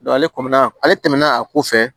ale kɔmi ale tɛmɛna a ko fɛ